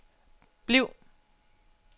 bliv